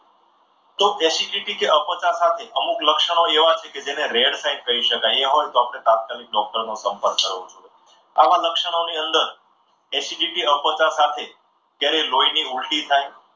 તો acidity કે અપાચાને સાથે અમુક લક્ષણો એવા છે કે જેને rare side કહી શકાય એ હોય તો ડોક્ટરને તાત્કાલિક ડોક્ટરનું સંપર્ક કરો. આવા લક્ષણોની અંદર acidity અ પચા સાથે ક્યારેય લોહીની ઉલટી થાય.